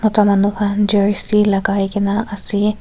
etu manu khan jersey laga ke na ase.